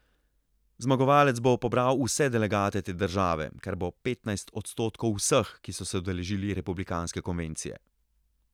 Zmagovalec bo pobral vse delegate te države, kar bo petnajst odstotkov vseh, ki so se udeležili republikanske konvencije.